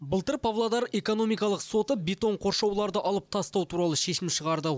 былтыр павлодар экономикалық соты бетон қоршауларды алып тастау туралы шешім шығарды